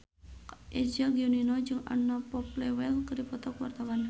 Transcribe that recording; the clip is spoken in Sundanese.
Eza Gionino jeung Anna Popplewell keur dipoto ku wartawan